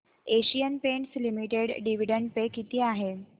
Asian Paints limited dividend pay किती आहे